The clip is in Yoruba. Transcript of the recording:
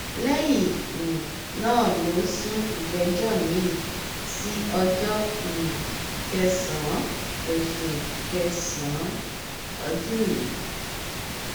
lẹyìn um náà ló sún ìgbẹjọ miín sí ọjọ um kẹsànán oṣù kẹsànán ọdún yìí